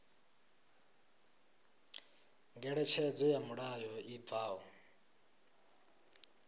ngeletshedzo ya mulayo i bvaho